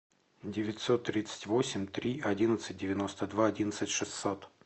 девятьсот тридцать восемь три одиннадцать девяносто два одиннадцать шестьсот